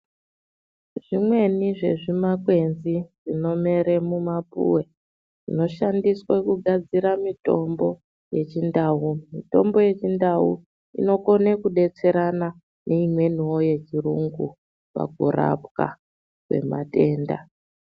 Zvimweni zvezvimakwenzi zvinomere mumapuwe zvino shandise mitombo yechindau mitombo yechindau inokone kudetserana neimweni wo yechiyungu pakurapwa kwematenda.